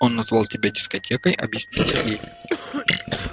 он назвал тебя дискотекой объяснил сергей